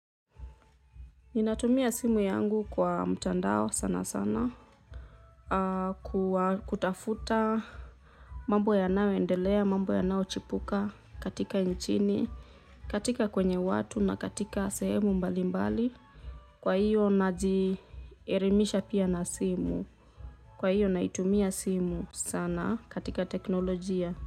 Ninatumia simu yangu kwa mtandao sana sana, kutafuta mambo yanayoendelea, mambo yanayochipuka katika nchini, katika kwenye watu na katika sehemu mbali mbali, kwa hiyo najielimisha pia na simu, kwa hiyo naitumia simu sana katika teknolojia.